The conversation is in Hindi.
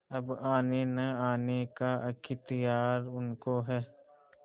अब आनेनआने का अख्तियार उनको है